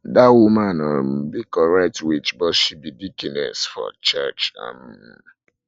that woman um be correct witch but she be deaconess for church um